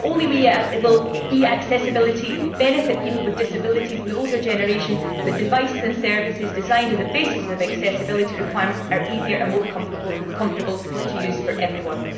Not only will e accessibility benefit people with disabilities and the older generation, but devices and services designed on the basis of accessibility requirements are easier and more comfortable to use for everyone.